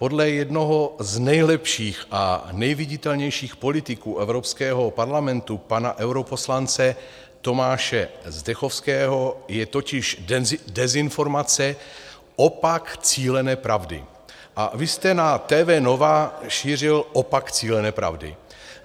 Podle jednoho z nejlepších a nejviditelnějších politiků Evropského parlamentu, pana europoslance Tomáše Zdechovského, je totiž dezinformace opak cílené pravdy a vy jste na TV Nova šířil opak cílené pravdy.